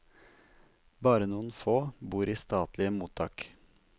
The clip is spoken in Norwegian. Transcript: Bare noen få bor i statlige mottak.